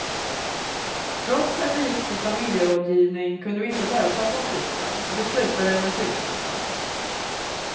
Trots att vi gick på familjerådgivning kunde vi inte lösa konflikten och det slutade med skilsmässa.